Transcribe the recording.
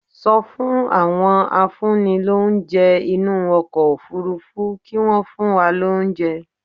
Sọ fún àwọn afúnnilóúnjẹ inú ọkọ̀ Òfurufú kí wọ́n fún wa lóúnjẹ